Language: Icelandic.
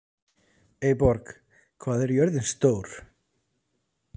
Eyborg, hvað er jörðin stór?